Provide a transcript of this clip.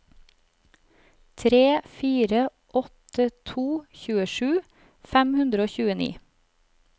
tre fire åtte to tjuesju fem hundre og tjueni